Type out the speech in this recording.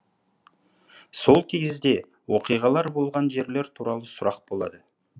сол кезде оқиғалар болған жерлер туралы сұрақ болады